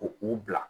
Ko u bila